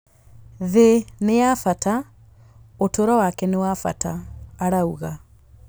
Thĩ nĩ ya bata; ũtũũro wake nĩ wa bata, arauga.